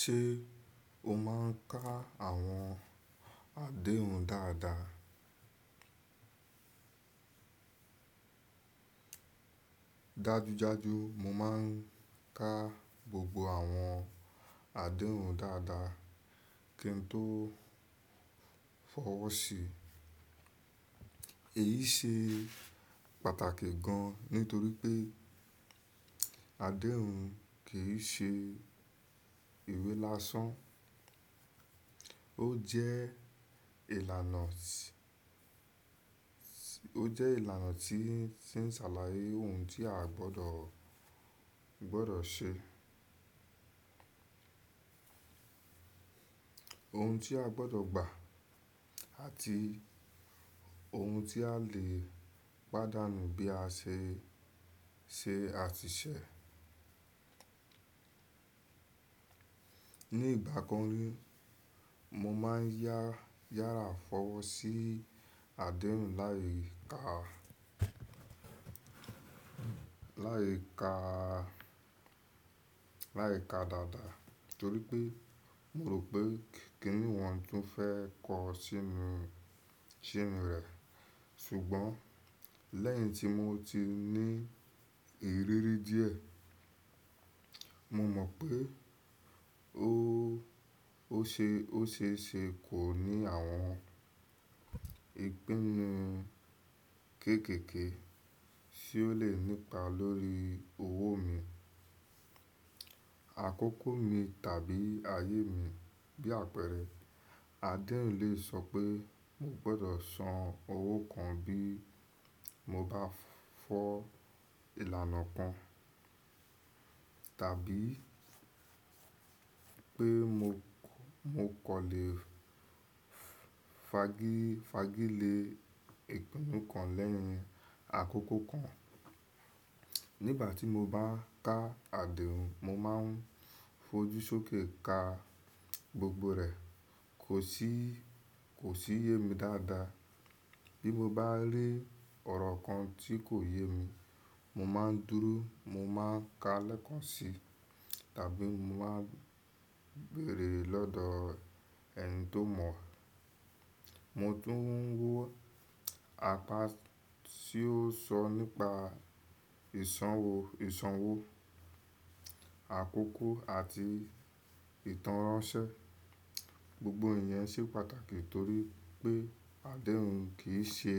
Ṣé o máà ń ka àwọn àdéhùn dáadáa? Dájú jáju, mo máà ń ka gbogbo àwọn àdéhùn dáadáa kí n tó fọwọ́ sí i. Èyí ṣe pàtàkì gan nítorí pé àdéhùn kì í ṣe ìwé lásán, ó jẹ́ ìlànà tí ń ṣàlàyé ohun tí a gbọdọ̀ ṣe, ohun tí a gbọdọ̀ gbà àti ohun tí a lè pàdánù bí a ṣe ṣe àtisẹ̀. Ní ìgbà kan rí, mo máà ń yára fọwọ́ sí àdéhùn láì ka dáadáa torí pé mo rò pé kí ní wọn tún fẹ́ kó sínú rẹ̀. Ṣùgbọ́n lẹ́yìn tí mo ti ní ìrírí díẹ̀, mo mọ̀ pé ó ṣe é ṣe kò ní àwọn ìpinnu kéékèèké tí ó lè nípa lórí owó mi, àkókò mi tàbí ayé mi. Bí àpẹẹrẹ, àdéhùn lè sọ pé mo gbọdọ̀ san owó kan bí mo bá fọ ìlànà kan tàbí pé mo kàn lè fàgi lé ìpinnu kan lẹ́yìn àkókò kan. Nígbà tí mo bá ka àdéhùn, mo máa ń fojú sókè ka gbogbo rẹ̀, kò sì yé mi dáadáa. Bí mo bá rí ọ̀rọ̀ kan tí kò yé mi, mo máa ń dúró, mo máa ń ka lẹ́ẹ̀kan si tàbí mo máa ń béèrè lọ́dọ̀ ẹni tó mọ̀. Mo tún ń wo apá tí ó sọ nípa ìsanwó, àkókò àti ìtánránsẹ́. Gbogbo ìyẹn ṣe pàtàkì nítorí pé àdéhùn kì í ṣe